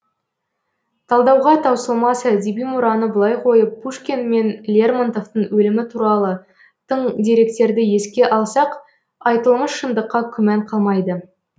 талдауға таусылмас әдеби мұраны былай қойып пушкин мен лермонтовтың өлімі туралы тың деректерді еске алсақ айтылмыш шындыққа күмән қалмайды